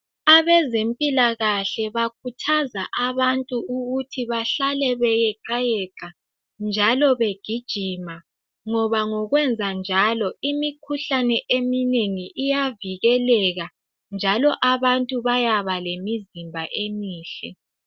Abezempilakahle bakhuthaza abantu ukuthi bahlale beyeqayeqa njalo begijima ngoba ngokwenzanjalo imikhuhlane eminengi iyavikeleka njalo abantu bayaba lemizimba emihle.